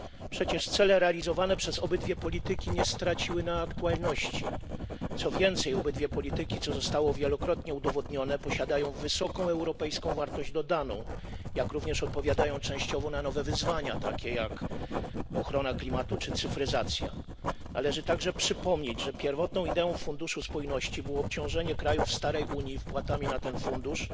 Przecież cele realizowane przez obydwie polityki nie straciły na aktualności, co więcej obydwie polityki, co zostało wielokrotnie udowodnione, posiadają wysoką europejską wartość dodaną, jak również odpowiadają częściowo na nowe wyzwania takie jak ochrona klimatu czy cyfryzacja. Należy także przypomnieć, że pierwotną ideą Funduszu Spójności było obciążenie krajów starej Unii wpłatami na ten fundusz